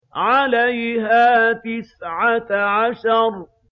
عَلَيْهَا تِسْعَةَ عَشَرَ